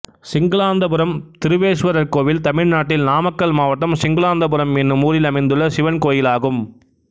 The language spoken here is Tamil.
சிங்களாந்தபுரம் திருவேஸ்வரர் கோயில் தமிழ்நாட்டில் நாமக்கல் மாவட்டம் சிங்களாந்தபுரம் என்னும் ஊரில் அமைந்துள்ள சிவன் கோயிலாகும்